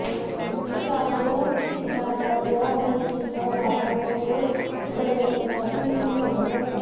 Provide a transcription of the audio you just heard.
ईशान्य भारतात या मिरचीचा वापर सॉस बनवण्यासाठीही केला जातो